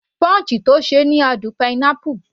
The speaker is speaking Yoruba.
Punch tí ó ṣe ni àádùn pineapple